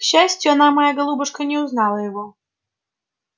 к счастию она моя голубушка не узнала его